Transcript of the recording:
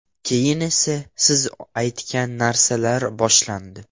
Keyin o‘sha siz aytgan narsalar boshlandi.